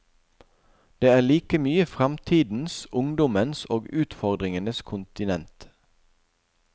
Det er like mye framtidens, ungdommens og utfordringenes kontinent.